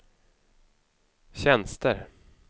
tjänster